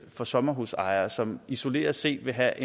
for sommerhusejere og som isoleret set vil have